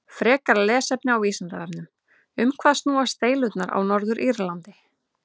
Frekara lesefni á Vísindavefnum: Um hvað snúast deilurnar á Norður-Írlandi?